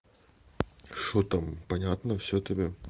что там понятно всё тебе